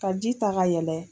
Ka ji ta ka yɛlɛ.